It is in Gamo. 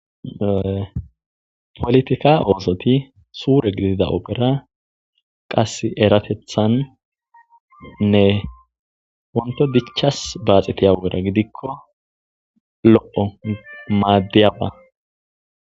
politika oosoti suure gidida ogera qas eratethannne onto dichas baaxetiya ogera gidikko lo7o maaddiyaba